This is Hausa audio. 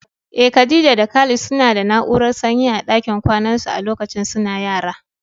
Eh, Khadija da Khalid suna da na'urar sanyi a dakin kwanan su a lokacin suna yara.